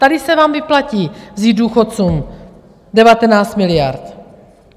Tady se vám vyplatí vzít důchodcům 19 miliard.